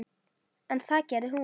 En það gerði hún.